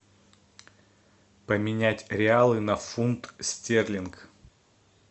поменять реалы на фунт стерлингов